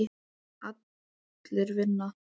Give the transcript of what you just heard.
Allir vinna.